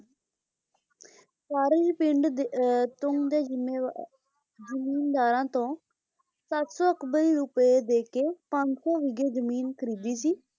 ਸਾਰੇ ਹੀ ਪਿੰਡ ਦੇ ਅਹ ਤੁੰਗ ਦੇ ਜਿੰਮੇਵਾਰ ਜਮੀਂਦਾਰਾਂ ਤੋਂ ਸੱਤ ਸੌ ਅਕਬਰ ਰੁਪਏ ਦੇਕੇ ਪੰਜ ਸੌ ਬੀਗੇ ਜ਼ਮੀਨ ਖਰੀਦੀ ਸੀ,